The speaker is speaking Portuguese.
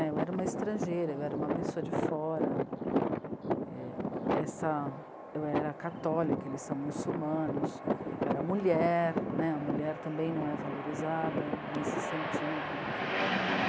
Eu era uma estrangeira, eu era uma pessoa de fora, essa, eu era católica, eles são muçulmanos, eu era mulher né, a mulher também não é valorizada nesse sentido.